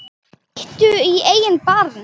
Líttu í eigin barm